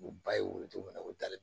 U ba ye wo cogo min na u dalen